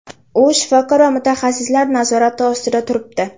U shifokor va mutaxassislar nazorati ostida turibdi.